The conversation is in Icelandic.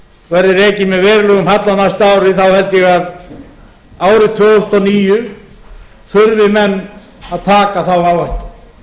verði rekinn með verulegum halla næstu árin held ég að árið tvö þúsund og níu þurfi menn að taka þá áhættu